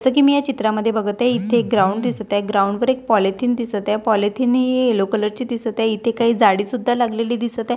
असं की मी या चित्रामध्ये बघत आहे इथे ग्राउंड दिसत आहे ग्राउंड वर एक पॉलिथीन दिसत आहे पॉलिथिन ही येलो कलर ची दिसत आहे इथे काही जाडी सुद्धा लागलेली दिसत आहे.